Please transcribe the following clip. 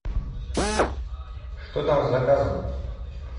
что там с заказом